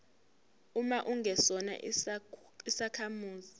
uma ungesona isakhamuzi